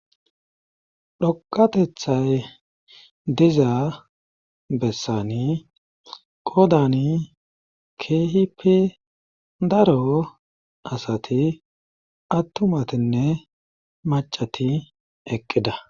dhoqatethay dizaa bessani qodani keehipi daro asati attumatinne macati eqqida